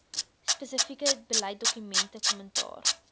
spesifieke beleidsdokumente kommentaar